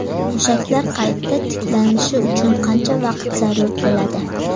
Mushaklar qayta tiklanishi uchun qancha vaqt zarur bo‘ladi?